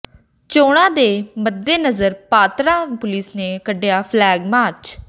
ਚੋਣਾਂ ਦੇ ਮੱਦੇਨਜ਼ਰ ਪਾਤੜਾਂ ਪੁਲਿਸ ਨੇ ਕੱਿਢਆ ਫਲੈਗ ਮਾਰਚ